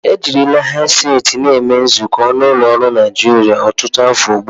Ejirila hedseti na eme nzukọ n'ụlọ ọrụ Naijiria ọtụtụ afọ ugbu a.